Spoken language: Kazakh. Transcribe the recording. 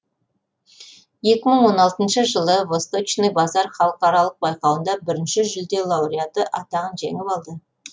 екі мың он алтыншы жылы васточный базар халықаралық байқауында бірінші жүлде лауреаты атағын жеңіп алды